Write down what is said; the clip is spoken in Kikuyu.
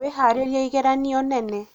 wĩharĩrie ĩgeranio nene